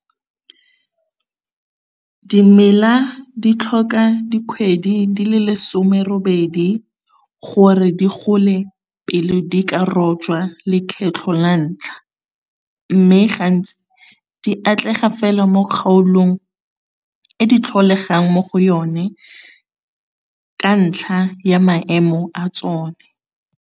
Dimela di tlhoka dikgwedi di le lesome robedi gore di gole pele di ka rojwa le kgetlho la ntlha, mme gantsi di atlega fela mo kgaolong e di tlholegang mo go yone ka ntlha ya maemo a tsone.